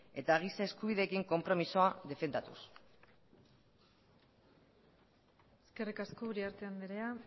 eta giza eskubideekin konpromezua defendatuz eskerrik asko uriarte andrea